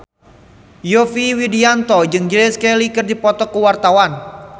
Yovie Widianto jeung Grace Kelly keur dipoto ku wartawan